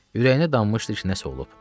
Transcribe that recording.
Ürəyinə danmışdı ki, nəsə olub.